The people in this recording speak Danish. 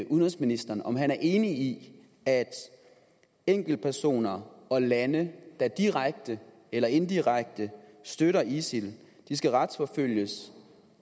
udenrigsministeren om han er enig i at enkeltpersoner og lande der direkte eller indirekte støtter isil skal retsforfølges